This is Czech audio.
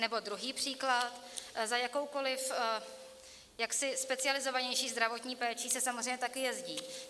Nebo druhý příklad, za jakoukoli jaksi specializovanější zdravotní péčí se samozřejmě taky jezdí.